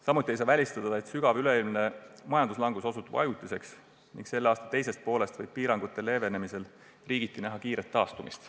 Samuti ei saa välistada, et sügav üleilmne majanduslangus osutub ajutiseks ning et selle aasta teisest poolest alates võib piirangute leevendamise korral näha riigiti kiiret taastumist.